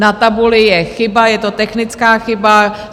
Na tabuli je chyba, je to technická chyba.